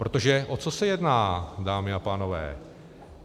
Protože o co se jedná, dámy a pánové?